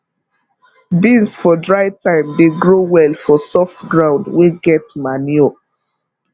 beans for dry time dey grow well for soft ground wey get manure